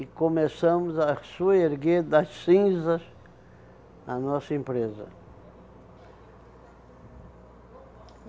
E começamos a soerguer das cinzas a nossa empresa.